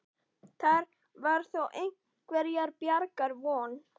Þar var þó einhverrar bjargar von.